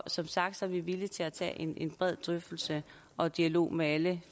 som sagt er vi villige til at tage en en bred drøftelse og dialog med alle